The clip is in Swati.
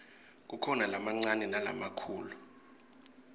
kukhona lamancane nalamakhulu